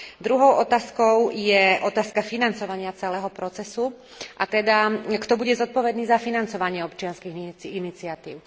Druhou otázkou je otázka financovania celého procesu a teda kto bude zodpovedný za financovanie občianskych iniciatív?